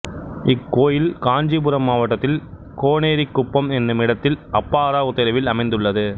இக்கோயில் காஞ்சீபுரம் மாவட்டத்தில் கோனேரிக்குப்பம் என்னுமிடத்தில் அப்பாராவ் தெருவில் அமைந்துள்ளது